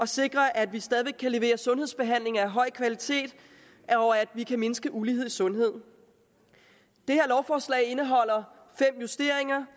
sikrer at vi stadig væk kan levere sundhedsbehandling af høj kvalitet og at vi kan mindske ulighed i sundheden det her lovforslag indeholder fem justeringer